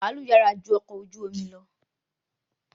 Ọkọ̀ baalu yàrá ju ọkọ ojú omi lọ